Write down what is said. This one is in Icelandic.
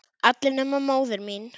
Allir nema móðir mín.